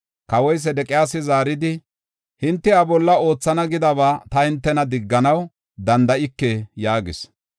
Kawoy Sedeqiyaasi zaaridi, “Hinte iya bolla oothana gidaba ta hintena digganaw danda7ike” yaagis.